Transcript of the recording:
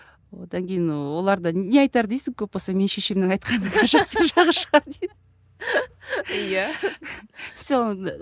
одан кейін олар да не айтар дейсің көп болса менің шешемнің айтқанының ар жақ бер жағы шығар